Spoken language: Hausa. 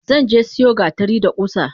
Zanje siyo gatari da kusa.